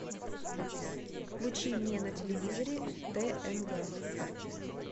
включи мне на телевизоре тнв